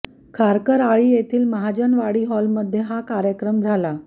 खारकर आळी येथील महाजनवाडी हॉलमध्ये हा कार्यक्रम झाला